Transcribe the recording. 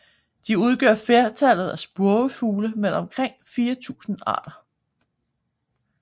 De udgør flertallet af spurvefugle med omkring 4000 arter